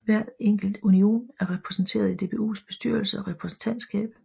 Hver enkelt union er repræsenteret i DBUs bestyrelse og repræsentantskab